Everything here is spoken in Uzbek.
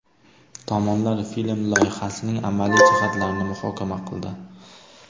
Tomonlar film loyihasining amaliy jihatlarini muhokama qildi.